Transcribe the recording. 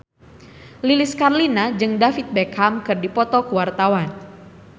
Lilis Karlina jeung David Beckham keur dipoto ku wartawan